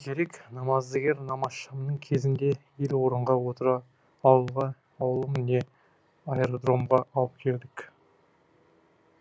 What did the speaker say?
керек намаздыгер намазшамның кезінде ел орынға отыра ауылға ауылым не айырдромға алып келдік